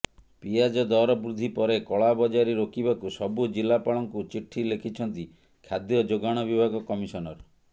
ପିଆଜ ଦର ବୃଦ୍ଧି ପରେ କଳାବଜାରୀ ରୋକିବାକୁ ସବୁ ଜିଲ୍ଲାପାଳଙ୍କୁ ଚିଠି ଲେଖିଛନ୍ତି ଖାଦ୍ୟ ଯୋଗାଣ ବିଭାଗ କମିଶନର